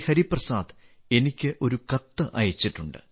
ഹരിപ്രസാദ് എനിക്ക് ഒരു കത്ത് അയച്ചിട്ടുണ്ട്